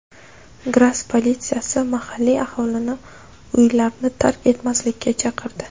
Gras politsiyasi mahalliy aholini uylarni tark etmaslikka chaqirdi.